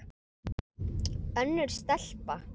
Önnur stelpa?